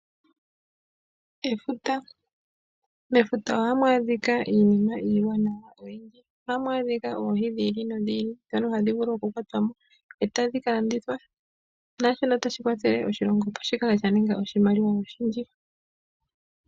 Mefuta ohamu adhika iinima iiwanawa oyindji. Ohamu adhika oohi dhi ili nodhi ili dhono hadhi vulu okukwatwa mo, e tadhi ka landithwa. Nashino otashi kwathele oshilongo opo shi kale sha ninga oshimliwa oshindji.